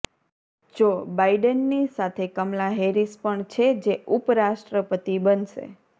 જો બાઇડેનની સાથે કમલા હેરિસ પણ છે જે ઉપરાષ્ટ્રપતિ બનશે